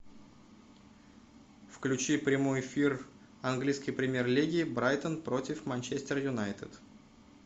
включи прямой эфир английской премьер лиги брайтон против манчестер юнайтед